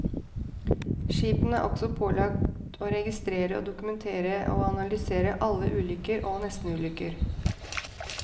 Skipene er også pålagt å registrere og dokumentere og analysere alle ulykker og nestenulykker.